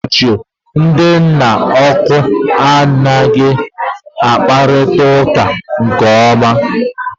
N'oge ochie, ndị nna ukwu na ohu ha anghị akparịta uka nke ọma